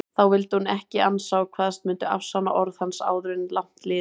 Því vildi hún ekki ansa og kvaðst mundu afsanna orð hans áður langt liði.